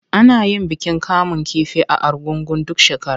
Ana yin bikin kamun kifi na Argungu duk shekara.